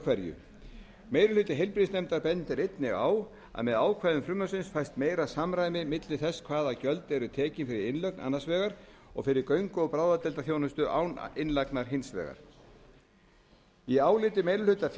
hverju meiri hluti heilbrigðisnefndar bendir einnig á að með ákvæðum frumvarpsins fæst meira samræmi milli þess hvaða gjöld eru tekin fyrir innlögn annars vegar og fyrir göngu og bráðadeildarþjónustu án innlagnar hins vegar í áliti meiri hluta